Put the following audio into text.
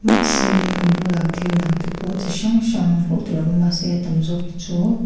mahse lehkha bulah thil dang te pawh chi hrang hrang hmuh tur a awm a mahse a tam zawk hi chu--